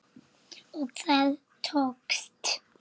Og það tókst.